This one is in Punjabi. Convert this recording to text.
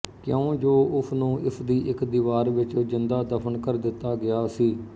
ਕਿਉਂਜੋ ਉਸਨੂੰ ਇਸਦੀ ਇੱਕ ਦੀਵਾਰ ਵਿੱਚ ਜਿੰਦਾ ਦਫਨ ਕਰ ਦਿੱਤਾ ਗਿਆ ਸੀ